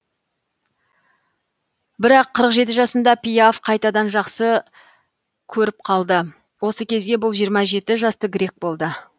бірақ қырық жеті жасында пиаф қайтадан жақсы ңөріп қалды осы кезге бұл жиырма жеті жасты грек болды